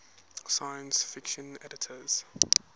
science fiction editors